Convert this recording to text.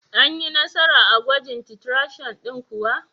Anyi Nasara a gwajin titration din kuwa.